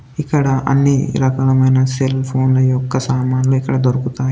ఇక్కడ అన్ని రకాల మైన సెల్ ఫోన్ యొక్క సామాన్లు ఇక్కడ దొరుకుతాయి.